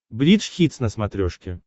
бридж хитс на смотрешке